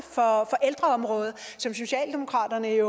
for ældreområdet som socialdemokratiet